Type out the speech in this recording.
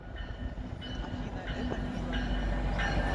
афина это мило